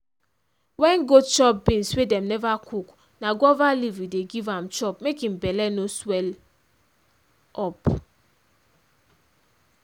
wen goat chop beans wey dem neva cook na guava leaf we dey giv am chop mae im belle no swell up.